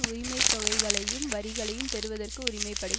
உரிமைத்தொகைகளையும் வரிகளையும் பெறுவதற்கு உரிமை படை